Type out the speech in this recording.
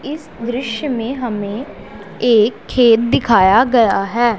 इस दृश्य में हमें एक खेत दिखाया गया है।